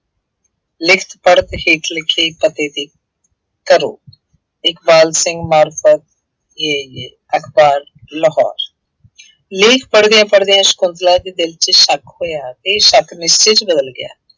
ਲਿਖਤ-ਪੜ੍ਹਤ ਹੇਠ ਲਿਖੇ ਪਤੇ ਤੇ ਕਰੋ। ਇਕਬਾਲ ਸਿੰਘ ਅਖਬਾਰ ਲਾਹੌਰ। ਲੇਖ ਪੜ੍ਹਦਿਆਂ ਪੜ੍ਹਦਿਆਂ ਸ਼ੰਕੁਤਲਾ ਦੇ ਦਿਲ ਚ ਸ਼ੱਕ ਹੋਇਆ, ਇਹ ਸ਼ੱਕ ਨਿਸ਼ਚੇ ਚ ਬਦਲ ਗਿਆ।